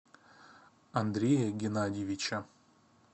андрея геннадьевича